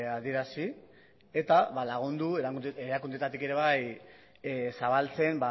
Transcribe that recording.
adierazi eta lagundu erakundeetatik ere bai zabaltzen